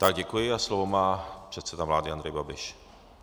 Tak, děkuji a slovo má předseda vlády Andrej Babiš.